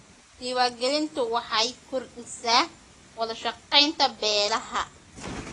Diiwaangelintu waxay kordhisaa wada shaqaynta beelaha.